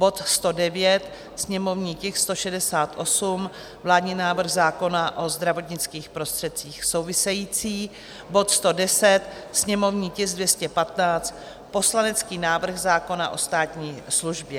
bod 109, sněmovní tisk 168, vládní návrh zákona o zdravotnických prostředcích související; bod 110, sněmovní tisk 215, poslanecký návrh zákona o státní službě.